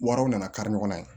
Wariw nana kari ɲɔgɔnna ye